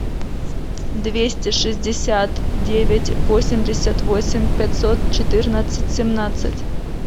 двести шестьдесят девять восемьдесят восемь пятьсот четырнадцать семнадцать